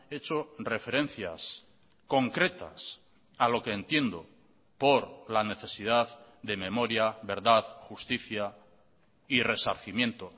he hecho referencias concretas a lo que entiendo por la necesidad de memoria verdad justicia y resarcimiento